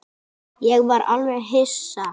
Ég var alveg hissa.